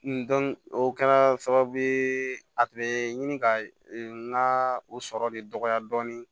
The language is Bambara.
o kɛla sababu ye a tun bɛ ɲini ka n ka o sɔrɔ de dɔgɔya dɔɔnin